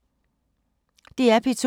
DR P2